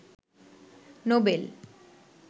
Nobel